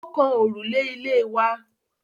Ó kan òrùlé ilé wa.